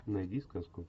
найди сказку